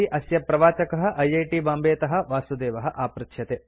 अस्य प्रवाचकः I I T बाम्बेतः वासुदेवः आपृच्छ्यते